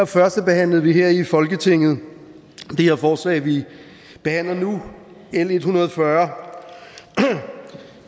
førstebehandlede vi her i folketinget det her forslag vi behandler nu l en hundrede og fyrre